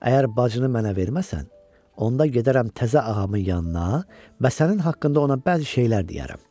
Əgər bacını mənə verməsən, onda gedərəm təzə ağamın yanına və sənin haqqında ona bəzi şeylər deyərəm.